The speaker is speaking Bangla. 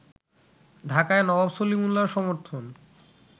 ঢাকায় নবাব সলিমুল্লাহর সমর্থন